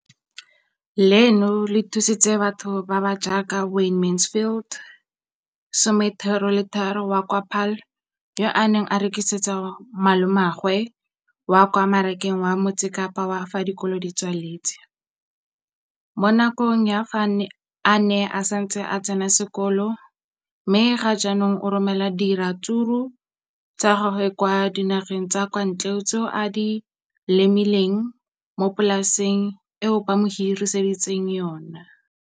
Leno le thusitse batho ba ba jaaka Wayne Mansfield, 33, wa kwa Paarl, yo a neng a rekisetsa malomagwe kwa Marakeng wa Motsekapa fa dikolo di tswaletse, mo nakong ya fa a ne a santse a tsena sekolo, mme ga jaanong o romela diratsuru tsa gagwe kwa dinageng tsa kwa ntle tseo a di lemileng mo polaseng eo ba mo hiriseditseng yona.